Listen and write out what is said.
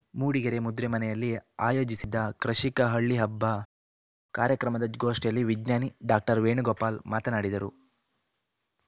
ಮೂಡಿಗೆರೆ ಮುದ್ರೆಮನೆಯಲ್ಲಿ ಆಯೋಜಿಸಿದ್ದ ಕೃಷಿಕ ಹಳ್ಳಿ ಹಬ್ಬ ಕಾರ್ಯಕ್ರಮದ ಗೋಷ್ಠಿಯಲ್ಲಿ ವಿಜ್ಞಾನಿ ಡಾಕ್ಟರ್ ವೇಣುಗೋಪಾಲ್‌ ಮಾತನಾಡಿದರು